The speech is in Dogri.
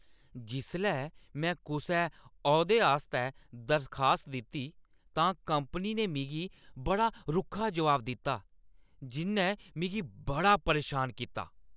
जिसलै में कुसै औह्दे आस्तै दरखास्त दित्ती, तां कंपनी ने मिगी बड़ा रुक्खा जवाब दित्ता जिʼन्नै मिगी बड़ा परेशान कीता।